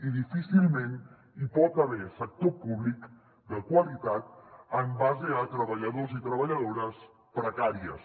i difícilment hi pot haver sector públic de qualitat en base a treballadors i treballadores precàries